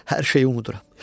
Hər şeyi unuduram.